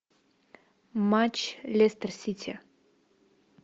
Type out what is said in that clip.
матч лестер сити